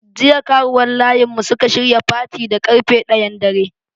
Jiya karuwan layin mu suka shirya fati da karfe ɗayan dare.